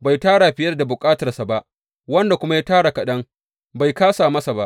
bai tara fiye da bukatarsa ba, wanda kuma ya tara kaɗan, bai kāsa masa ba.